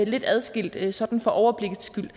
lidt adskilt sådan for overblikket skyld